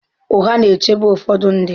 Ụgha na-echebe ụfọdụ ndị.